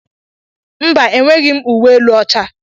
Mba, enweghị m uwe elu ọcha.